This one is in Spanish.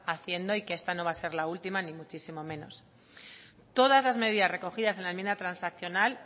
haciendo y que esta no va a ser la misma ni muchísimo menos todas las medidas recogidas en la enmienda transaccional